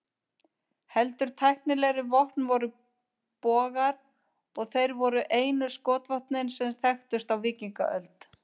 Heldur tæknilegri vopn voru bogar, og þeir voru einu skotvopnin sem þekktust á víkingaöld.